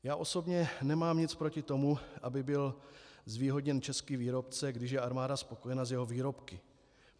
Já osobně nemám nic proti tomu, aby byl zvýhodněn český výrobce, když je armáda spokojena s jeho výrobky.